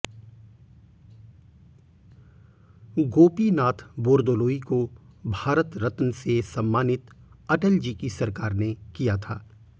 गोपीनाथ बोरदोलोई को भारत रत्न से सम्मानित अटल जी की सरकार ने किया था